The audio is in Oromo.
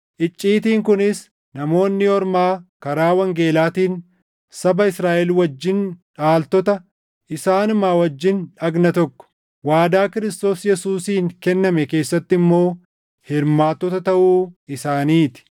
Icciitiin kunis Namoonni Ormaa karaa wangeelaatiin saba Israaʼel wajjin dhaaltota, isaanuma wajjin dhagna tokko, waadaa Kiristoos Yesuusiin kenname keessatti immoo hirmaattota taʼuu isaanii ti.